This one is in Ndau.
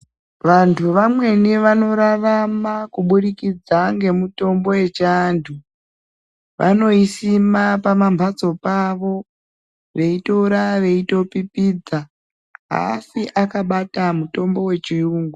Vantu vamweni vanorarama kubudikidza ngemutombo yechiantu vanoisima pamambatso pavo veitora veitopipidza aafi akabata mutombo wechiyungu.